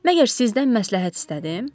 Məgər sizdən məsləhət istədim?